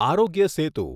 આરોગ્ય સેતુ